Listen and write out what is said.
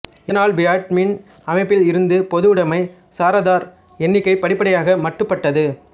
இதனால் வியட்மின் அமைப்பில் இருந்த பொதுவுடைமை சாராதார் எண்ணிக்கை படிப்படியாக மட்டுபட்டது